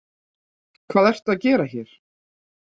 Hvað ertu að gera hérna?